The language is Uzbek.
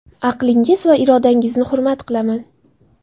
Aqlingiz va irodangizni hurmat qilaman.